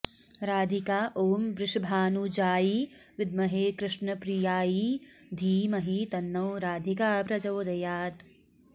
राधिका ॐ वृषभानुजायै विद्महे कृष्णप्रियायै धीमहि तन्नो राधिका प्रचोदयात्